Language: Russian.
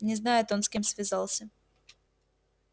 не знает он с кем связался